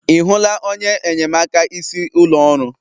Ị hụla onye enyemaka isi ụlọ ọrụ